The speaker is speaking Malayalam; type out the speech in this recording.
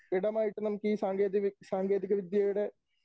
ഇടമായിട്ട് നമുക്ക് ഈ സാങ്കേതികവി, സാങ്കേതികവിദ്യയുടെ